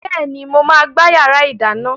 Bẹ́ẹ̀ni, mo máa gbá yàrá ìdáná.